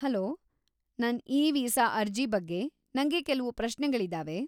Hello, ನನ್ e visa ಅರ್ಜಿ ಬಗ್ಗೆ ನಂಗೆ ಕೆಲ್ವು ಪ್ರಶ್ನೆಗಳಿದಾವೆ.